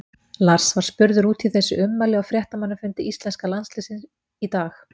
Lars var spurður út í þessi ummæli á fréttamannafundi íslenska landsliðsins í dag.